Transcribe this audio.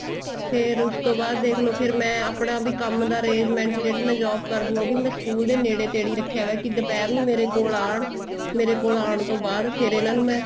ਫ਼ੇਰ ਉਸ ਤੋ ਬਾਅਦ ਦੇਖਲੋ ਫ਼ੇਰ ਮੈਂ ਆਪਣਾ ਵੀ ਕੰਮ ਦਾ arrangement ਜਿਹੜੀ ਮੈਂ job ਕਰਦੀ ਹਾਂ ਉਹ ਵੀ ਮੈਂ school ਦੇ ਨੇੜੇ ਤੇੜੇ ਹੀ ਰੱਖਿਆ ਪਇਆ ਕੀ ਦੁਪਿਹਰ ਨੂੰ ਮੇਰੇ ਕੋਲ ਆਣ ਮੇਰੇ ਕੋਲ ਆਣ ਤੋ ਬਾਅਦ ਫ਼ੇਰ ਇਹਨਾ ਨੂੰ ਮੈਂ